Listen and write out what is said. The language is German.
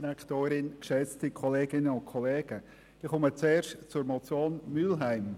Ich komme zuerst zur Motion Mühlheim.